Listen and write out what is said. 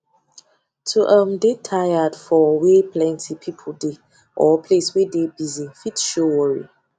to um de tired for wey plenty people de or place wey de busy fit show worry